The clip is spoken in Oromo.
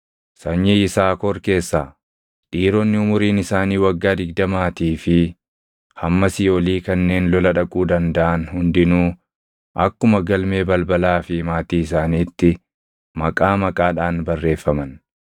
Sanyii Yisaakor keessaa: Dhiironni umuriin isaanii waggaa digdamaatii fi hammasii olii kanneen lola dhaquu dandaʼan hundinuu akkuma galmee balbalaa fi maatii isaaniitti maqaa maqaadhaan barreeffaman.